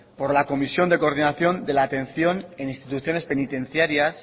por la comisión de coordinación de la atención en instituciones penitenciarias